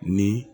Ni